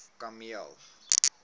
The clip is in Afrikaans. kameel